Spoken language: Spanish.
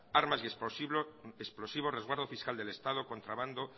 armas y explosivos resguardo fiscal del estado contrabando